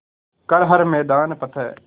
कर हर मैदान फ़तेह